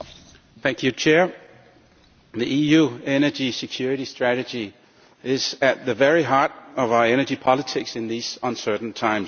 Madam President, the EU Energy Security Strategy is at the very heart of our energy politics in these uncertain times.